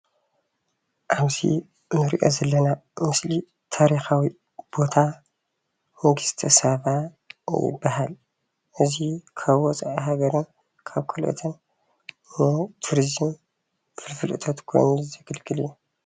ኣብዚ እንሪኦ ዘለና ምስሊ ታሪኻዊ ቦታ ንግስተሳባ ይበሃል። እዚ ካብ ወፂኢ ሃገርን ካብ ካልኦትን ንቱሪዝም ፋልፍል እቶት ኮይኑ ዘገልግል እዩ።